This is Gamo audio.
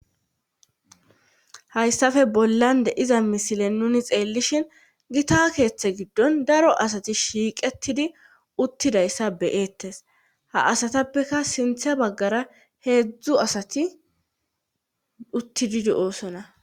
Hayssafe bollande iza misile nuni xeellishin gita keeththe giddon daro asati shiiqetidi uttidayssa beyeettes ha asatappeka sintha baggara heedzdzu asati uttididi oosona